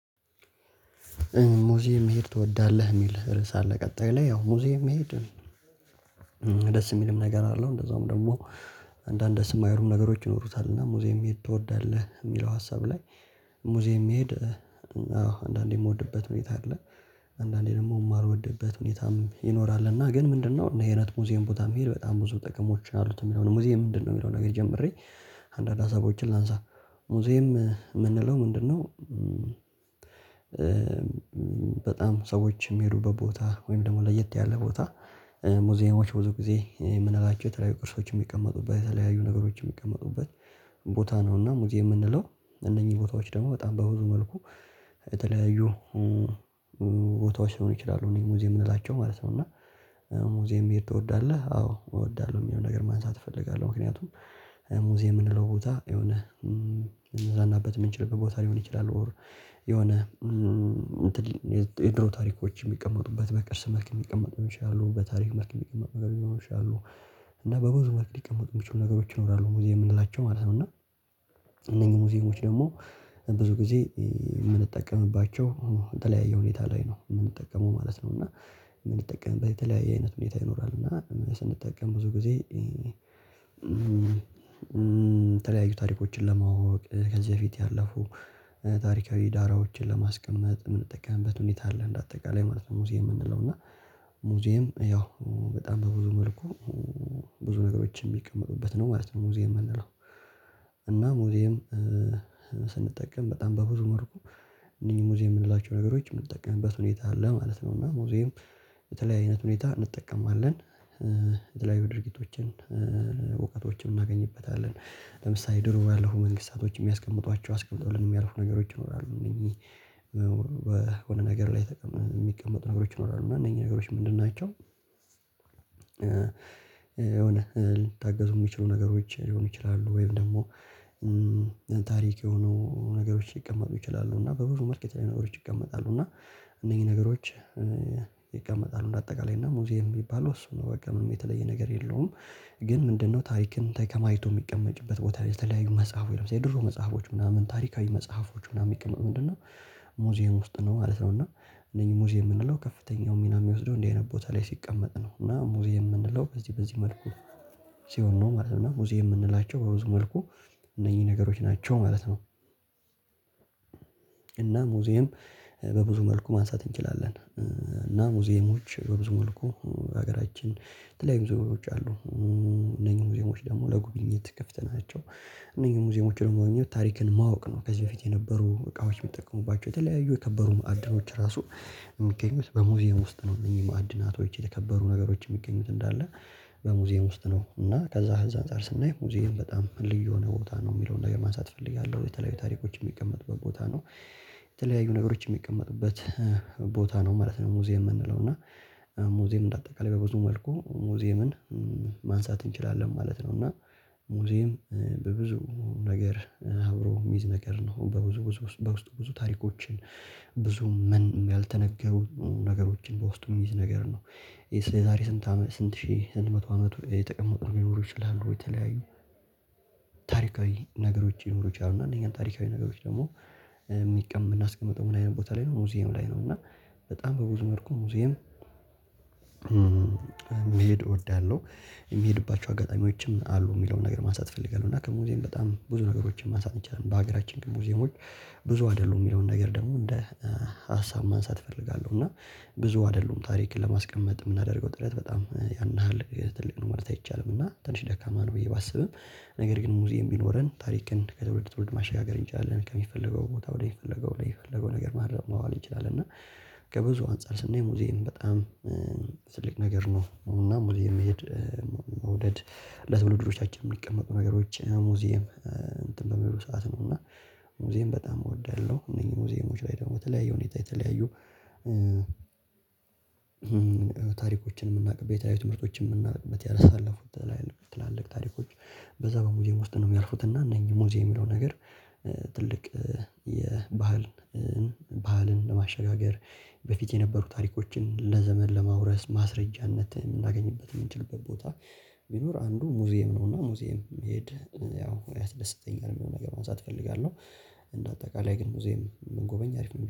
ሙዚየም መሄድ ትወዳለህ የሚል ርዕስ አለ? ቀጣይ ላይ ያው ሙዚየም መሄድ ደስ የሚልም ነገር አለው እንደዛውም ደግሞ። አንዳንድ ደስ የማይሉ ነገሮች ይኖሩታል። እና ሙዚየም መሄድ ትወዳለህ የሚለው ሀሳብ ላይ ሙዚየም መሄድ አዎ አንዳንዴ የምወድበት ሁኔታ አለ። አንዳንዴ ደግሞ የማልወድበት ሁኔታም ይኖራል። እና ግን ምንድነው እንደዚህ አይነት ሙዚየም ቦታ መሄድ በጣም ብዙ ጥቅሞች አሉት የሚለው ነው። ሙዚየም ምንድነው የሚለው ነገር ጀምሬ አንዳንድ ሀሳቦችን ላንሳ ሙዚየም የምንለው ምንድ ነው? በጣም ሰዎች የሚሄዱበት ቦታ ወይም ደግሞ ለየት ያለ ቦታ። ሙዚየሞች ብዙ ጊዜ የምንላቸው የተለያዩ ቅርሶች የሚቀመጡበት የተለያዩ ነገሮች የሚቀመጡበት ቦታ ነው። እና ሙዚየም የምንለው እነኚህ ቦታዎች ደግሞ በጣም በብዙ መልኩ የተለያዩ ቦታዎች ሊሆኑ ይችላሉ እእኒህ ሙዚየም የምላቸው ማለት ነው። እና ሙዚየም መሄድ ትወዳለህ አዎ እወዳለሁ የሚለውን ነገር ማንሳት እፈልጋለሁ። ምክንያቱም ሙዚየም የምንለው ቦታ የሆነ ልንዝናናበት የምንችልበት ቦታ ሊሆን ይችላል። የሆነ የድሮ ታሪኮች የሚቀመጡበት በቅርስ መልክ የሚቀመጡ ሊሆኑ ይችላሉ በታሪክ መልክ የሚቀመጡ ነገር ሊሆኑ ይችላሉ። እና በብዙ መልክ ሊቀመጡ የሚችሉ ነገሮች ይኖራሉ ሙዚየም የምንላቸው ማለት ነው። እና እነኚህ ሙዚየሞች ደግሞ ብዙ ጊዜ የምንጠቀምባቸው የተለያየ ሁኔታ ላይ ነው የምንጠቀመው ማለት ነው። እና የምንጠቀምበት የተለያየ አይነት ሁኔታ ይኖራል እና ስንጠቀም ብዙ ጊዜ የተለያዩ ታሪኮችን ለማወቅ ከዚህ በፊት ያለፉ ታሪካዊ ዳራዎችን ለማስቀመጥ የምንጠቀምበት ሁኔታ አለ። እንደ አጠቃላይ ማለት ነው ሙዚየም የምንለው እና ሙዚየም ያው በጣም በብዙ መልኩ ብዙ ነገሮች የሚቀመጡበት ነው ማለት ነው። ሙዚየም የምንለው እና ሙዚየም ስንጠቀም በጣም በብዙ መልኩ እኒህን ሙዚየም የምንላቸው ነገሮች የምንጠቀምበት ሁኔታ አለ ማለት ነው። እና ሙዚየም በተለየ አይነት ሁኔታ እንጠቀመዋለን የተለያዩ ድርጊቶችን እውቀቶችን እናገኝበታለን ለምሳሌ ድሮ ያለፉ መንግስታቶች የሚያስቀምጧቸው አስቀምጠው የሚያልፉ ነገሮች ይኖራሉ። እነኚህ በሆነ ነገር ላይ የሚቀመጡ ነገሮች ይኖራሉ እና እነኚህ ነገሮች ምንድን ናቸው? የሆነ ሊታገዙ የሚችሉ ነገሮች ሊሆኑ ይችላሉ። ወይም ደግሞ ታሪክ የሆኑ ነገሮች ሊቀመጡ ይችላሉ። እና በብዙ መልክ የተለያዩ ነገሮች ይቀመጣሉ። እና እነኚህ ነገሮች ይቀመጣሉ እንደ አጠቃላይ እና ሙዚየም የሚባለው እሱ ነው በቃ ምንም የተለየ ነገር የለውም። ግን ምንድነው ታሪክን ተከማችቶ የሚቀመጥበት ቦታ ላይ የተለያዩ መጽሐፍ ወይ ደግሞ የድሮ መጽሐፎች ምናምን ታሪካዊ መጽሐፎች ምናምን የሚቀመጥ ምንድነው? ሙዚየም ውስጥ ነው ማለት ነው። እና እነኚህ ሙዚየም የምንለው ከፍተኛው ሚና የሚወስደው እንዲህ አይነት ቦታ ላይ ሲቀመጥ ነው። እና ሙዚየም የምንለው በዚህ በዚህ መልኩ ሲሆን ነው ማለት ነው ሙዚየም የምንላቸው በዚህ መልኩ እነኚህ ነገሮች ናቸው ማለት ነው። እና ሙዚየም በብዙ መልኩ ማንሳት እንችላለን። እና ሙዚየሞች በብዙ መልኩ ሀገራችን የተለያዩ ብዙ ነገሮች አሉ እነኚህ ሙዚየሞች ደግሞ ለጉብኝት ክፍት ናቸው። እነኚህ ሙዚየሞች ደግሞ ታሪክን ማወቅ ነው ከዚህ በፊት የነበሩ እቃዎች የሚጠቀሙባቸው የተለያዩ የከበሩ ማዕድኖች ራሱ የሚገኙት በሙዚየም ውስጥ ነው። እነዚህ ማዕድናቶች የተከበሩ ነገሮች የሚገኙት እንዳለ በሙዚየም ውስጥ ነው። እና ከዛ አንፃር ስናይ ሙዚየም በጣም ልዩ የሆነ ቦታ ነው የሚለውን ነገር ማሳት ፈልጌያለሁ። የተለያዩ ታሪኮች የሚቀመጡበት ቦታ ነው የተለያዩ ነገሮች የሚቀመጡበት ቦታ ነው ማለት ነው። ሙዚየም የምንለው እና ሙዚየም እንደ አጠቃላይ በብዙ መልኩ ሙዚየምን ማንሳት እንችላለን ማለት ነው። እና ሙዚየም በብዙ ነገር አብሮ የሚይዝ ነገር ነው በብዙ በውስጡ ታሪኮችን ብዙ ምን ያልተነገሩ ነገሮችን በውስጡ የሚይዝ ነገር ነው። የዛሬ ስንት አመት ስንት ሺህ ስንት መቶ አመት የተቀመጡ ነገሮች ሊኖሩ ይችላሉ። ወይ የተለያዩ ታሪካዊ ነገሮች ሊኖሩ ይችላሉ እና እነኛን ታሪካዊ ነገሮች ደግሞ የምናስቀምጠው ምን አይነት ቦታ ላይ ነው? ሙዚየም ላይ ነው እና በጣም በብዙ መልኩ ሙዚየም መሄድ እወዳለሁ። የሚሄድባቸው አጋጣሚዎችም አሉ የሚለውን ነገር ማንሳት እፈልጋለሁ እና ከሙዚየም በጣም ብዙ ነገሮችን ማንሳት ይቻላል። በሀገራችን ግን ሙዚየሞች ብዙ አይደሉም የሚለውን ነገር ደግሞ እንደ ሀሳብ ማንሳት እፈልጋለሁ። እና ብዙ አይደሉም ታሪክን ለማስቀመጥ የምናደርገው ጥረት በጣም ያን ያህል ትልቅ ነው ማለት አይቻልም እና ትንሽ ደካማ ነው ብዬ ባስብም ነገር ግን ሙዚየም ቢኖረን ታሪክን ከተወለደ ትውልድ ማሻገር እንችላለን ከሚፈልገው ቦታ ወደሚፈለገው ወደሚፈለገው ነገር ማዋል እንችላለን። እና ከብዙ አንፃር ስናይ ሙዚን በጣም ትልቅ ነገር ነው። እና ሙዚየም መሄድ መውደድ ለትውልዶቻችን የሚቀመጡ ነገሮች ሙዚየም እንትን በሚሉ ሰዓት ነው እና ሙዚየም በጣም እወዳለሁ። እነዚህ ሙዚየሞች ላይ ደግሞ ተለያዩ ሁኔታ የተለያዩ ታሪኮችን የምናውቅ ቤታዊ ትምህርቶችን የምናውቅ ያሳለፉትን ትላልቅ ታሪኮች በዛ በሙዚየም ውስጥ ነው የሚያልፉት እና እነኚህ ሙዚየም የሚለው ነገር ትልቅ የባህልን ባህልን ለማሸጋገር በፊት የነበሩ ታሪኮችን ለዘመን ለማውረስ ማስረጃነት የምናገኝበት የምንችልበት ቦታ ቢኖር አንዱ ሙዚየም ነው። እና ሙዚየም መሄድ ያው ያደስተኛ የሚለውን ነገር ማንሳት እፈልጋለሁ። እንደ አጠቃላይ ግን ሙዚየም ብንጎበኝ አሪፍ ነው